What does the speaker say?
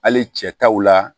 Hali cɛ taw la